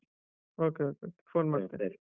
Okay okay.